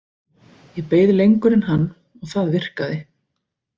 Ég beið lengur en hann og það virkaði.